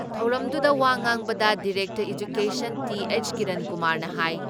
ꯊꯧꯔꯝꯗꯨꯗ ꯋꯥꯉꯥꯡꯕꯗ director education ꯇꯤ.ꯍꯩꯆ ꯀꯤꯔꯟꯀꯨꯃꯥꯔꯅ ꯍꯥꯏ